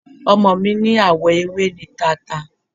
Ọmọ mi ní àwọ ewé ni tata.